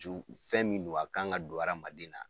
Ju fɛn min don a kan ŋa don adamaden na.